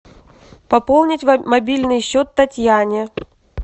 пополнить мобильный счет татьяне